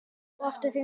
Og aftur fyrir sig.